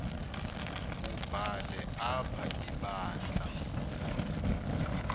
wubhale apha ibandla